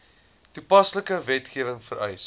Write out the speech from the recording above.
toepaslike wetgewing vereis